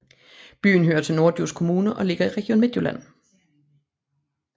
Byen hører til Norddjurs Kommune og ligger i Region Midtjylland